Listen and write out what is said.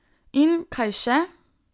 In kaj še?